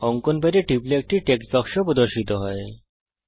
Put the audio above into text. অঙ্কন প্যাডের উপর টিপুন একটি টেক্সট বাক্স প্রদর্শিত হবে